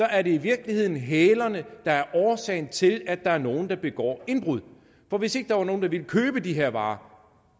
er det i virkeligheden hælerne der er årsagen til at der er nogen der begår indbrud for hvis ikke der var nogen der ville købe de her varer